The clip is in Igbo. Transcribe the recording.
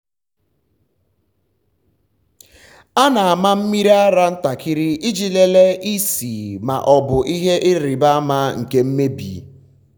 m na-ama mmiri ara ntakịrị iji lelee ísì ma ọ bụ ihe ịrịba ama nke mmebi.